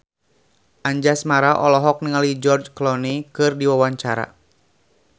Anjasmara olohok ningali George Clooney keur diwawancara